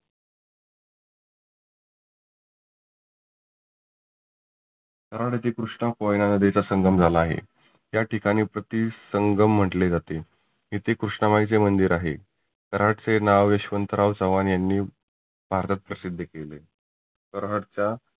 कराड येथे कृष्णा कोयना नदिचा संगम झाला आहे. त्या ठिकाणी प्रती संगम म्हटले जाते. येथे कृष्णा माईचे मंदीर आहे. कराडचे नाव यशवंतराव चव्हान यांनी भारतात प्रसिद्ध केले. कराडच्या